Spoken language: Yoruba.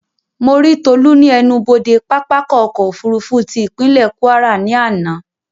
Mo rí Tolú ní ẹnubodè pápákọ̀ ọ̀kọ òfurufú tí ìpínlè Kwara ní àná